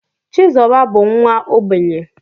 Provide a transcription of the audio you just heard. Chizoba bu nwa ogbenye